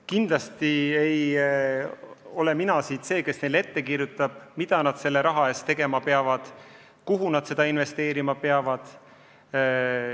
Kindlasti ei ole mina see, kes neile ette kirjutab, mida nad oma raha eest tegema peavad, kuhu seda investeerima peavad.